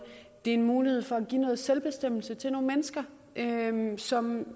er en mulighed for at give noget selvbestemmelse til nogle mennesker som